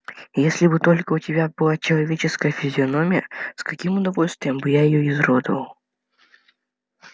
если бы только у тебя была человеческая физиономия с каким удовольствием бы я её изуродовал